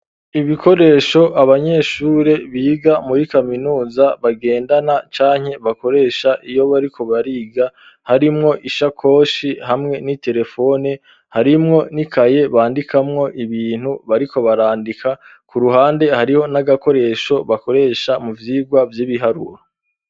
Ibikoresho, abanyeshure biga muri kaminuza bagendana, canke bakoresha iyo bariko bariga, harimwo ishakoshi hamwe n'iterefone, harimwo n'ikaye bandikamwo ibintu bariko barandika, ku ruhande hariho n'agakoresho, bakoresha mu vyigwa vy'ibiharuro.